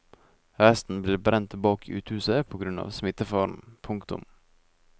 Resten ble brent bak uthuset på grunn av smittefaren. punktum